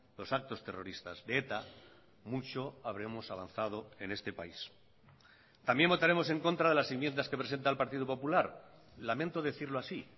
los actos terroristas de eta mucho habremos avanzado en este país también votaremos en contra de las enmiendas que presenta el partido popular lamento decirlo así